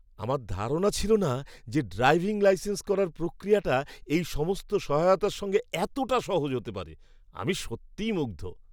আমার ধারণা ছিল না যে ড্রাইভিং লাইসেন্স করার প্রক্রিয়াটা এই সমস্ত সহায়তার সঙ্গে এতটা সহজ হতে পারে। আমি সত্যিই মুগ্ধ!